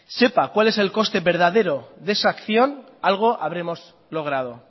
sepa cuál es el coste verdadero de esa acción algo habremos logrado